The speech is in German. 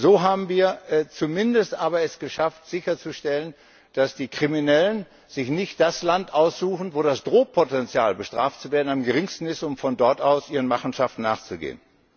So haben wir es zumindest aber geschafft, sicherzustellen, dass die Kriminellen sich nicht das Land aussuchen, wo das Drohpotenzial, bestraft zu werden, am geringsten ist, um von dort aus ihren Machenschaften nachzugehen.